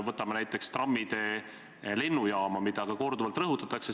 Võtame näiteks trammitee lennujaama, mida korduvalt on rõhutatud.